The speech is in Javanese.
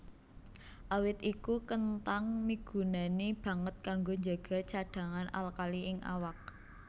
Awit iku kenthang migunani banget kanggo njaga cadhangan alkali ing awak